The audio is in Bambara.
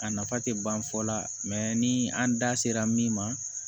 A nafa tɛ ban fɔ la ni an da sera min ma